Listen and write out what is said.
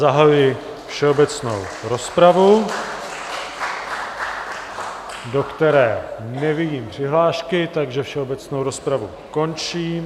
Zahajuji všeobecnou rozpravu, do které nevidím přihlášky, takže všeobecnou rozpravu končím.